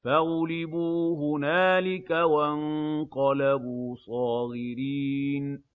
فَغُلِبُوا هُنَالِكَ وَانقَلَبُوا صَاغِرِينَ